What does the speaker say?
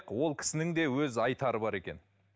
ол кісінің де өз айтары бар екен